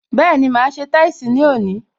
Bẹẹni, máa ṣe táìsì ní òní